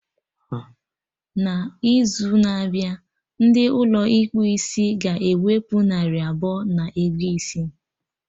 Na izu na-abịa, ndị Ụlọ ịkpụ isiga ewepụ narị abụọ na ego isi